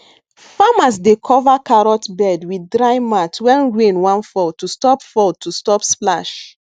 farmers dey cover carrot bed with dry mat when rain wan fall to stop fall to stop splash